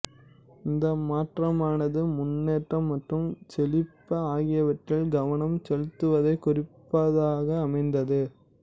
இந்த மாற்றமானது முன்னேற்றம் மற்றும் செழிப்பு ஆகியவற்றில் கவனம் செலுத்துவதைக் குறிப்பதாக அமைந்தது